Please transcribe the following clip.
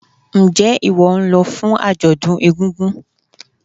Njé ìwó nlo fún àjòdún egúngún?